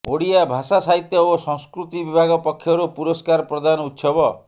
ଓଡ଼ିଆ ଭାଷା ସାହିତ୍ୟ ଓ ସଂସ୍କୃତି ବିଭାଗ ପକ୍ଷରୁ ପୁରସ୍କାର ପ୍ରଦାନ ଉତ୍ସବ